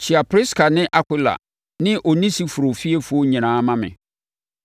Kyea Priska ne Akwila ne Onesiforo fiefoɔ nyinaa ma me.